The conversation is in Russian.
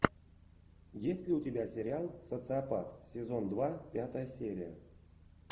есть ли у тебя сериал социопат сезон два пятая серия